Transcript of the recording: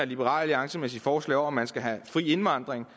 liberal alliance med sit forslag om at man skal have fri indvandring